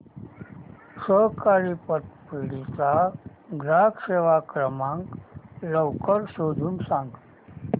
सहकारी पतपेढी चा ग्राहक सेवा क्रमांक लवकर शोधून सांग